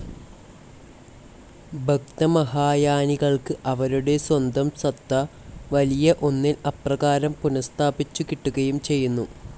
ഭക്തമഹായാനികൾക്ക് അവരുടെ സ്വന്തം സത്ത, വലിയ ഒന്നിൽ അപ്രകാരം പുനഃസ്ഥാപിച്ചു കിട്ടുകയും ചെയ്യുന്നു.